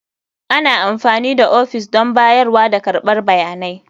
Ana amfani da ofis don bayarwa da karɓar bayanai.